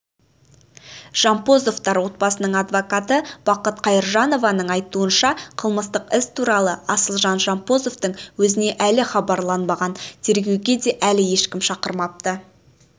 жампозовотар отбасының адвокаты бақыт қайыржанованың айтуынша қылмыстық іс туралы асылжан жампозовтың өзіне әлі хабарланбаған тергеуге де әлі ешкім шақырмапты